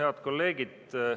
Head kolleegid!